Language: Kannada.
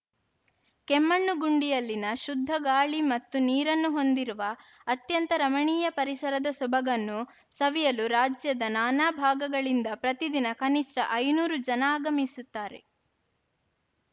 ಕೆಮ್ಮಣ್ಣುಗುಂಡಿಯಲ್ಲಿನ ಶುದ್ಧ ಗಾಳಿ ಮತ್ತು ನೀರನ್ನು ಹೊಂದಿರುವ ಅತ್ಯಂತ ರಮಣೀಯ ಪರಿಸರದ ಸೊಬಗನ್ನು ಸವಿಯಲು ರಾಜ್ಯದ ನಾನಾ ಭಾಗಗಳಿಂದ ಪ್ರತಿದಿನ ಕನಿಷ್ಠ ಐದುನೂರು ಜನ ಆಗಮಿಸುತ್ತಾರೆ